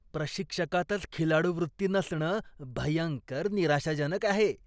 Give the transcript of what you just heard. प्रशिक्षकातच खिलाडूवृत्ती नसणं भयंकर निराशाजनक आहे.